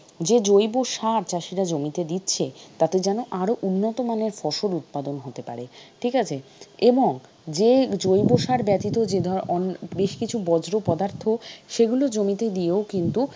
যে জৈব সার চাষিরা জমিতে দিচ্ছে তাতে যেন আরও উন্নতমানের ফসল উৎপাদন হতে পারে। ঠিক আছে? এবং যে জৈবসার ব্যতীত যে অন্য বেশকিছু বজ্র পদার্থ সেগুলো জমিতে দিও কিন্তু,